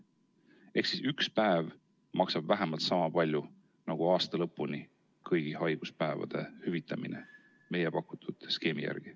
Ehk siis üks päev maksab vähemalt sama palju nagu aasta lõpuni kõigi haiguspäevade hüvitamine meie pakutud skeemi järgi.